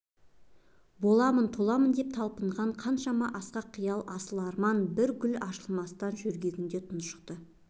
боламын-толамын деп талпынған қаншама асқақ қиял асыл арман бір гүл ашылмастан жөргегінде тұншықты